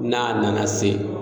N'a nana se